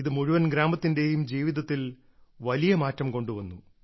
ഇത് മുഴുവൻ ഗ്രാമത്തിന്റെയും ജീവിതത്തിൽ വലിയ മാറ്റം കൊണ്ടുവന്നു